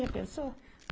Já pensou.